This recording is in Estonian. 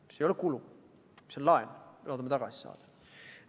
See ei ole kulu, vaid see on laen, mille me loodame tagasi saada.